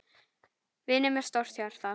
Vinur með stórt hjarta.